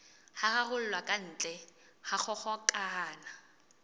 ho raroloha kantle ha kgokahano